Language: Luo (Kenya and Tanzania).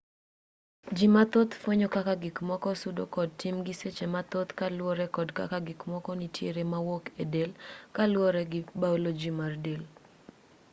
ji mathoth fwenyo kaka gikmoko sudo kod timgi seche mathoth kaluore kod kaka gikmoko nitiere mawuok e del kaluoro gi biology mar del